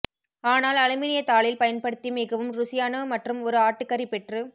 ஆனால் அலுமினிய தாளில் பயன்படுத்தி மிகவும் ருசியான மற்றும் ஓரு ஆட்டுக்கறி பெற்று